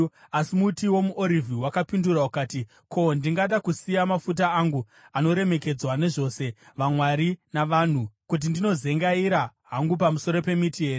“Asi muti womuOrivhi wakapindura ukati, ‘Ko, ndingada kusiya mafuta angu, anoremekedzwa nezvose, vamwari navanhu, kuti ndinozengaira hangu pamusoro pemiti here?’